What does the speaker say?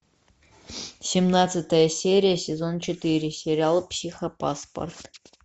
семнадцатая серия сезон четыре сериал психопаспорт